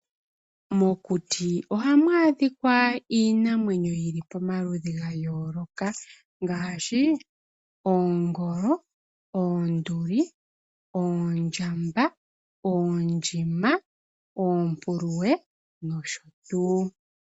Mokuti oha mwaadhika iinamwenyo yili pamaludhi gayooloka ngaashi oongolo, oonduli, oondjamba, oondjima, oonguluwe noshotuu.